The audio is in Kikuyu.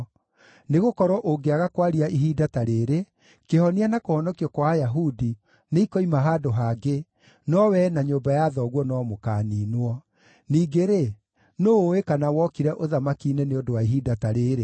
Nĩgũkorwo ũngĩaga kwaria ihinda ta rĩĩrĩ, kĩhonia na kũhonokio kwa Ayahudi nĩikoima handũ hangĩ, no wee na nyũmba ya thoguo no mũkaaniinwo. Ningĩ-rĩ, nũũ ũũĩ kana wokire ũthamaki-inĩ nĩ ũndũ wa ihinda ta rĩĩrĩ?”